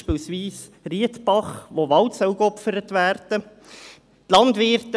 Ein Beispiel ist Riedbach, wo Wald geopfert werden soll.